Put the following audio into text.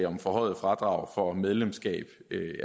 om forhøjet fradrag for medlemskab